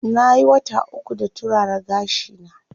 Nayi wata uku da turara gashi na.